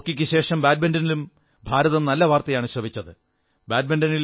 ഹോക്കിക്കു ശേഷം ബാറ്റ്മിന്റനിലും ഭാരതം നല്ല വാർത്തയാണു ശ്രവിച്ചത്